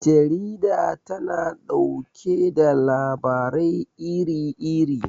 Jarida tana ɗauke da labarai iri iri.